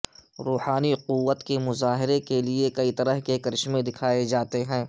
روحانی قوت کے مظاہرے کے لئے کئی طرح کے کرشمے دکھائے جاتے ہیں